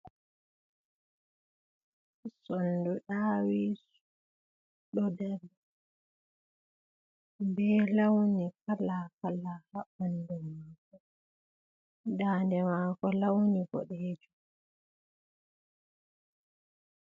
Sondu ɗawisu ɗo dari be launi kala hala haɓandu mako daande mako launi boɗejum.